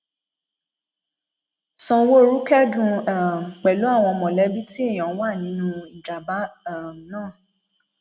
sanwóoru kẹdùn um pẹlú àwọn mọlẹbí tí èèyàn wà nínú ìjàmbá um náà